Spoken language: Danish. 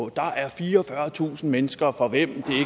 der er fireogfyrretusind mennesker for hvem